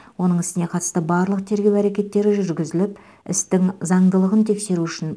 оның ісіне қатысты барлық тергеу әрекеттері жүргізіліп істің заңдылығын тексеру үшін